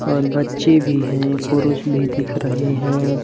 और बच्चे भी हैं पुरुष भी दिख रहे हैं।